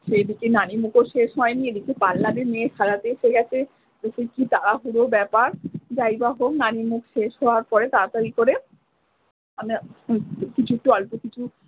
সেদিকে নানিমুখও শেষ হইনি এদিকে পার্লারের মেয়ে সাজাতে চলে আসে এতে কি তাড়াহুড়োর ব্যাপার যাই বা হোক নানি মুখ শেষ হওয়ার পরে তাড়াতাড়ি করে কিছু একটা অল্প কিছু।